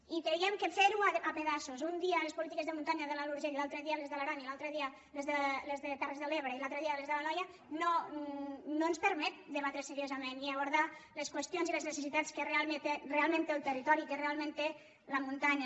i creiem que fer ho a pedaços un dia les polítiques de muntanya de l’alt urgell l’altre dia les de l’aran i l’altre dia les de terres de l’ebre i l’altre dia les de l’anoia no ens permet debatre seriosament i abordar les qüestions i les necessitats que realment té el territori que realment té la muntanya